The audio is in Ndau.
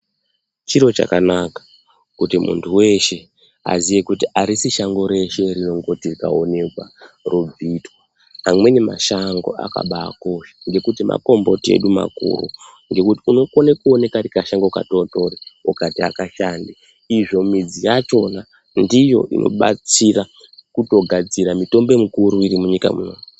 Chiro chakanaka chekuti mundu weshe aziye kuti arisi shango reshe rinongoti raonekwa robvitwa, amweni mashango akaba akosha ngekuti makomboti edu makuru ngekuti unokona kuona kari kashango kadodori ungati akashandi izvo midzi yachona ndiyo inobatsira kuto kugadzira mitombo mikuru iri munyika munomu.